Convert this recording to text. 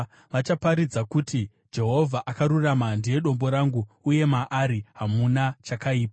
Vachaparidza kuti, “Jehovha akarurama; ndiye Dombo rangu, uye maari hamuna chakaipa.”